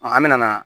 an bɛ na